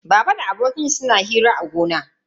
Baba da abokan shi suna hira a gona.